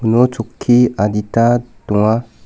uno chokki adita donga.